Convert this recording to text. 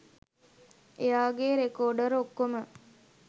එයාගෙ රෙකොර්ඩ් ඔක්කොම